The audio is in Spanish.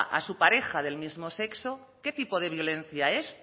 a su pareja del mismo sexo qué tipo de violencia es